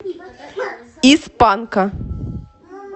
из панка